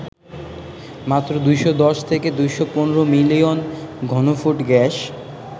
মাত্র ২১০ থেকে ২১৫ মিলিয়ন ঘনফুট গ্যাস